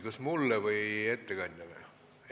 Kas mulle või ettekandjale?